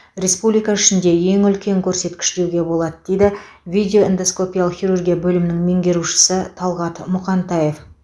республика ішінде ең үлкен көрсеткіш деуге болады дейді видеоэндоскопиялық хирургия бөлімінің меңгерушісі талғат мұқантаев